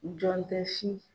Jɔn tɛ